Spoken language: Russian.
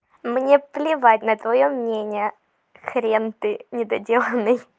мне плевать на твоё мнение хрен ты недоделанный